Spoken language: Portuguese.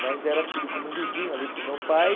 Mas era tido como um vizinho ali para o meu pai.